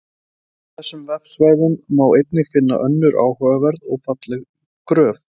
Á þessum vefsvæðum má einnig finna önnur áhugaverð og falleg gröf.